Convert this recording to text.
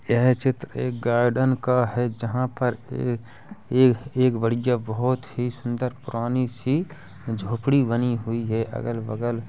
यह चित्र एक गार्डन का है। जहाँ पर ए- एक- एक बढ़िया बहुत ही सुन्दर पुरानी सी झोपड़ी बनी हुई है अगल बगल।